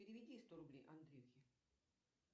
переведи сто рублей андрюхе